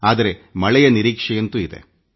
ಆದರೆ ಮಳೆಗಾಗಿ ನಾವು ಕಾಯುತ್ತಿದ್ದೇವೆ